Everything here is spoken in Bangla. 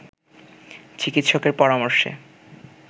চিকিৎসকের পরামর্শে